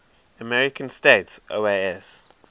american states oas